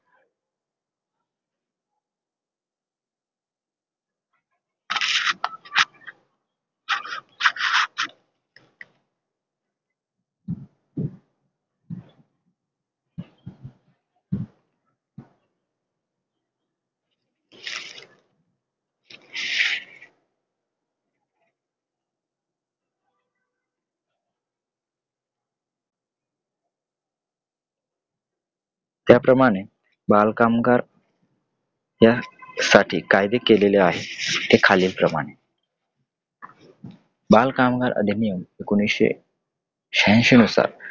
त्याप्रमाणे बालकामगार या अं साठी कायदे केलेले आहेत ते खालीलप्रमाणे बालकामगार अधिनियम एकोणीशे शहांशी नुसार